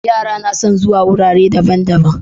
Yara nason zuwa wurare daban daban